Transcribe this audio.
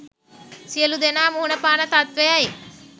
සියලු දෙනා මුහුණපාන තත්ත්වයයි.